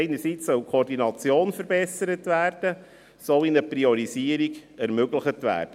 Einerseits soll die Koordination verbessert werden, und andererseits soll eine Priorisierung ermöglicht werden.